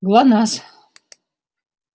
глонассс